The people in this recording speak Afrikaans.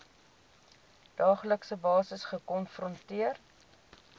daaglikse basis gekonfronteer